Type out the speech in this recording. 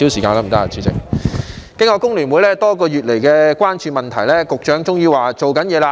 經過工聯會多個月來關注問題，局長終於說正在做事。